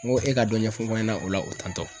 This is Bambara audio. Ŋo e ka dɔ ɲɛfɔ n fa ɲɛna o la o tantɔ